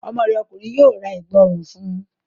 Ọmọ rẹ ọkùnrin yóò ra Ẹ̀gbá ọrùn fun